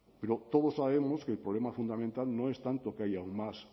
pero todos sabemos que el problema fundamental no es tanto que haya más